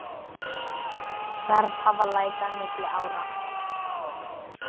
Verð hafi lækkað milli ára.